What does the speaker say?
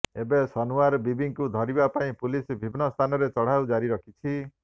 ଏବେ ସନୱାର ବିବିଙ୍କୁ ଧରିବା ପାଇଁ ପୁଲିସ ବିଭିନ୍ନ ସ୍ଥାନରେ ଚଢ଼ଉ ଜାରି ରଖିଛି